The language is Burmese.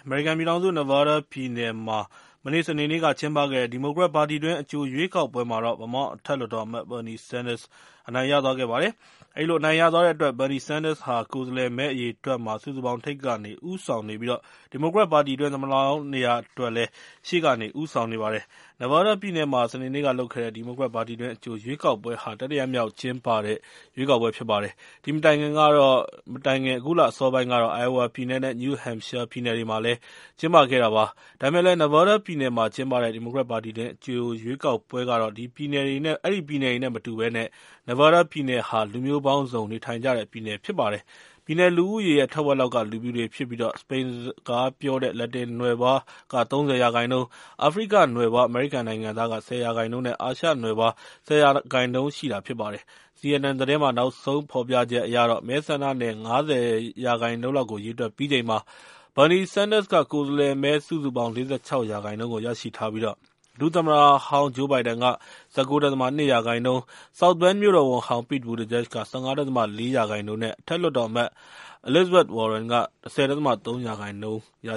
မေရိကန်ပြည်ထောင်စု Nevada ပြည်နယ်မှာ စနေနေ့က ကျင်းပခဲ့တဲ့ ဒီမိုကရက်ပါတီတွင်း အကြိုရွေးကောက်ပွဲမှာတော့ Vermont အထက်လွှတ်တော်အမတ် Bernie Sanders အနိုင်ရသွားပါတယ်။ အဲဒီလို အနိုင်ရသွားတဲ့အတွက် Bernie Sanders ဟာ ကိုယ်စားလှယ်မဲ အရေအတွက် စုစုပေါင်းမှာ ထိပ်ကနေ ဦးဆောင်နေပြီး ဒီမိုကရက်ပါတီတွင်း သမ္မတလောင်းနေရာအတွက် ရှေ့ကနေ ဦးဆောင်နေပါတယ်။ Nevada ပြည်နယ်မှာ စနေနေ့ကလုပ်တဲ့ ဒီမိုကရက်ပါတီတွင်း အကြိုရွေးကောက်ပွဲဟာ တတိယမြောက်ကျင်းပတဲ့ ရွေးကောက်ပွဲ ဖြစ်ပါတယ်။ ဒီမတိုင်ခင်က အခုလအစောပိုင်းကတော့ Iowa ပြည်နယ်နဲ့ New Hamshire ပြည်နယ်တွေမှာလည်း ကျင်းပခဲ့တာ ဖြစ်ပါတယ်။ ဒါပေမယ့်လည်း Nevada ပြည်နယ်မှာ ကျင်းပတဲ့ ဒီမိုကရက်ပါတီတွင်း အကြိုရွေးကောက်ပွဲကတော့ အဲဒီပြည်နယ်တွေနဲ့ မတူဘဲ Nevada ပြည်နယ်ဟာ လူမျိုးပေါင်းစုံ နေထိုင်ကြတဲ့ပြည်နယ် ဖြစ်ပါတယ်။ ပြည်နယ်လူဦးရေရဲ့ ထက်ဝက်လောက်က လူဖြူတွေဖြစ်ပြီး စပိန်စကားပြောတဲ့ လက်တင်နွယ်ဖွား ၃၀ ရာခိုင်နှုန်း၊ အာဖရိကနွယ်ဖွား အမေရိကန်နိုင်ငံသား ၁၀ ရာခိုင်နှုန်းနဲ့ အာရှနွယ်ဖွား ၁၀ ရာခိုင်နှုန်းရှိတာ ဖြစ်ပါတယ်။ CNN သတင်းမှာ နောက်ဆုံးဖော်ပြချက်အရတော့ မဲဆန္ဒနယ် ၅၀ ရာခိုင်နှုန်းလောက်ကို ရေတွက်ပြီးချိန်မှာ Bernie Sanders က ကိုယ်စားလှယ်မဲ စုစုပေါင်း ၄၆ ရာခိုင်နှုန်းကို ရရှိထားပြီး ဒု-သမ္မတဟောင်း Joe Biden က ၁၉.၂ ရာခိုင်နှုန်း၊ South Bend မြို့တော်ဝန်ဟောင်း Pete Buttigieg က ၁၅.၄ ရာခိုင်နှုန်း၊ အထက်လွှတ်တော်အမတ် Elizabeth Warren က ၁၀.၃ ရာခိုင်နှုန်းရ